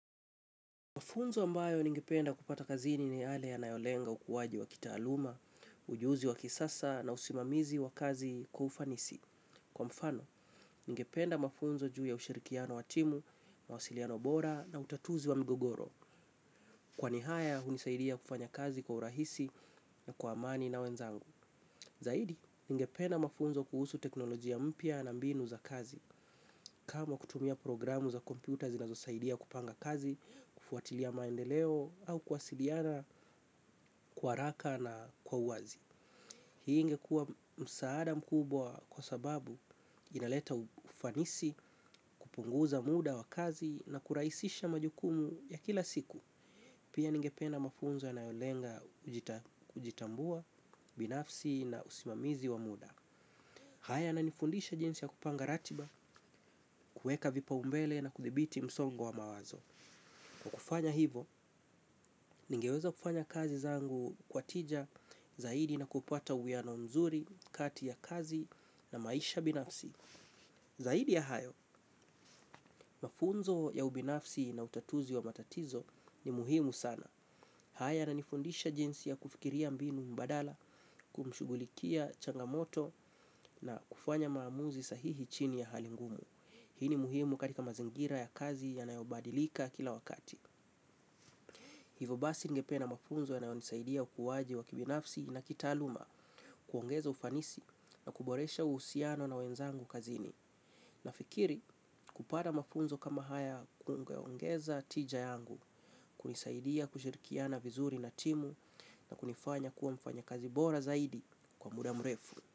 Mafunzo ambayo ningependa kupata kazini ni yale yanayolenga ukuwaji wa kitaaluma, ujuzi wa kisasa na usimamizi wa kazi kwa ufanisi. Kwa mfano, ningependa mafunzo juu ya ushirikiano wa timu, mawasiliano bora na utatuzi wa mgogoro. Kwani haya, hunisaidia kufanya kazi kwa urahisi na kwa amani na wenzangu. Zaidi, ningependa mafunzo kuhusu teknolojia mpya na mbinu za kazi. Kama kutumia programu za komyputa zinazosaidia kupanga kazi, kufuatilia maendeleo au kuwasiliana, kwa haraka na kwa uwazi hii ingekua msaada mkubwa kwa sababu inaleta ufanisi kupunguza muda wa kazi na kuraisisha majukumu ya kila siku. Pia ningepena mafunzo yanayolenga kujitambua, binafsi na usimamizi wa muda. Haya yananifundisha jinsi ya kupanga ratiba, kuweka vipa umbele na kudhibiti msongo wa mawazo. Kwa kufanya hivo, ningeweza kufanya kazi zangu kwa tija zaidi na kupata uwiano nzuri, kati ya kazi na maisha binafsi. Zaidi ya hayo, mafunzo ya ubinafsi na utatuzi wa matatizo ni muhimu sana. Haya yananifundisha jinsi ya kufikiria mbinu mbadala kumshugulikia changamoto na kufanya maamuzi sahihi chini ya hali ngumu. Hii ni muhimu katika mazingira ya kazi yanayobadilika kila wakati. Hivo basi ningependa mafunzo yanayonisaidia ukuwaji wa kibinafsi na kitaaluma kuongeza ufanisi na kuboresha uhusiano na wenzangu kazini. Nafikiri kupada mafunzo kama haya kungeongeza tija yangu, kunisaidia kushirikiana vizuri na timu na kunifanya kuwa mfanya kazi bora zaidi kwa muda mrefu.